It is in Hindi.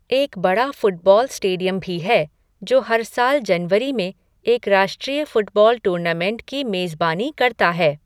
एक बड़ा फ़ुटबॉल स्टेडियम भी है जो हर साल जनवरी में एक राष्ट्रीय फ़ुटबॉल टूर्नामेंट की मेज़बानी करता है।